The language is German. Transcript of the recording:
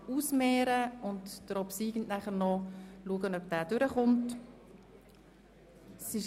Dann werden wir sehen, ob der obsiegende Eventualantrag angenommen wird.